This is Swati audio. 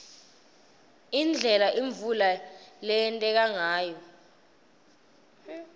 indlela imvula leyenteka ngayo